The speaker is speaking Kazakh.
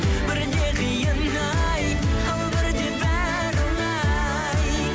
бірде қиын ай ал бірде бәрі оңай